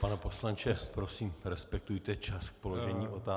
Pane poslanče, prosím, respektujte čas k položení otázky.